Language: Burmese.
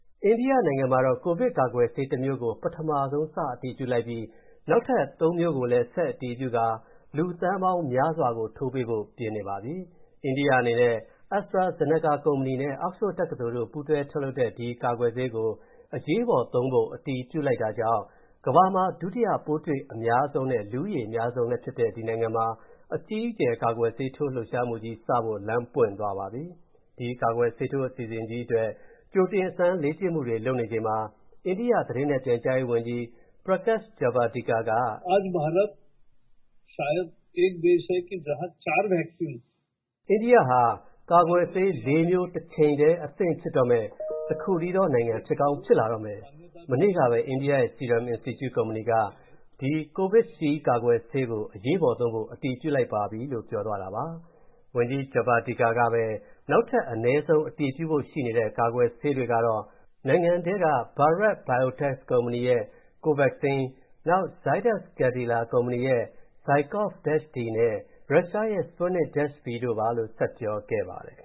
အိန္ဒိယနိုင်ငံမှာ ကိုဗစ်ကာကွယ်ဆေးတမျိုးကို ပထမဆုံး စအတည်ပြုလိုက်ပြီး နောက်ထပ် ၃ မျိုးကိုလည်း ဆက်အတည်ပြုကာ လူသန်းပေါင်းများစွာကို ထိုးပေးဖို့ ပြင်နေပါပြီ။ အိန္ဒိယအနေနဲ့ AstraZeneca ကုမ္ပဏီနဲ့ Oxford တက္ကသိုလ်တို့ ပူးတွဲထုတ်လုပ်တဲ့ ကာကွယ်ဆေးကို အရေးပေါ်သုံးဖို့ အတည်ပြုလိုက်တာကြောင့် ကမ္ဘာမှာ ဒုတိယ ပိုးတွေ့အများဆုံးနဲ့ လူဦးရေအများဆုံးလည်းဖြစ်တဲ့ ဒီနိုင်ငံမှာ အကြီးအကျယ် ကာကွယ်ဆေးထိုး လှုပ်ရှားမှုကြီးစဖို့ လမ်းပွင့်သွားပါပြီ။ ဒီကာကွယ်ဆေးထိုး အစီအစဉ်ကြီးအတွက် ကြိုတင်အစမ်းလေ့ကျင့်မူတွေ လုပ်နေချိန်မှာ အိန္ဒိယ သတင်းနဲ့ပြန်ကြားရေးဝန်ကြီး Prakash Javadekar က… “အိန္ဒိယဟာ ကာကွယ်ဆေး ၄ မျိုး တချိန်တည်း အသင့်ဖြစ်တော့မယ့် တခုတည်းသောနိုင်ငံ ဖြစ်ကောင်းဖြစ်လာတော့မယ်။ မနေ့ကပဲ အိန္ဒိယရဲ့ Serum Institute ကုမ္ပဏီက ဒီ COVISHIELD ကာကွယ်ဆေးကို အရေးပေါ်သုံးဖို့ အတည်ပြုလိုက်ပါပြီ” လို့ ပြောသွားတာပါ။ ဝန်ကြီး Javadekar ကပဲ နောက်ထပ် အနည်းဆုံး အတည်ပြုဖို့ရှိနေတဲ့ ကာကွယ်ဆေးတွေကတော့ နိုင်ငံထဲက Bharat Biotech’s ကုမ္ပဏီရဲ့ COVAXIN၊ နောက် Zydus Cadila ကုမ္ပဏီရဲ့ ZyCoV-D နဲ့ ရုရှားရဲ့ Sputnik-V တို့ပါလို့ မနေ့က ဆက်ပြောခဲ့ပါတယ်။ အခ